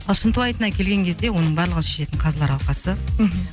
ал шынтуайтына келген кезде оның барлығын шешетін қазылар алқасы мхм